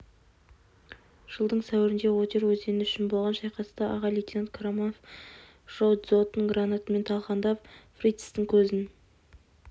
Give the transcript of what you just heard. жылдың сәуірінде одер өзені үшін болған шайқаста аға лейтенант қараманов жау дзотын гранатамен талқандап фрицтің көзін